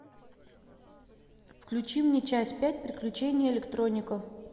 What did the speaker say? включи мне часть пять приключения электроника